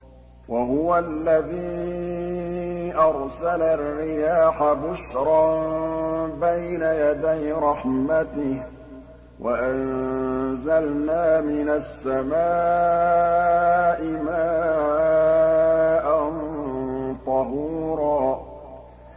وَهُوَ الَّذِي أَرْسَلَ الرِّيَاحَ بُشْرًا بَيْنَ يَدَيْ رَحْمَتِهِ ۚ وَأَنزَلْنَا مِنَ السَّمَاءِ مَاءً طَهُورًا